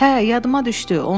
Hə, yadıma düşdü.